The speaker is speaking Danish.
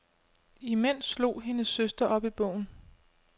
Imens slog hendes søster op i bogen.